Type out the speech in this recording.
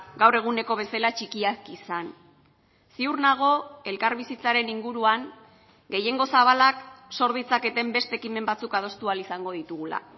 gaur eguneko bezala txikiak izan ziur nago elkarbizitzaren inguruan gehiengo zabalak zor ditzaketen beste ekimen batzuk adostu ahal izango ditugula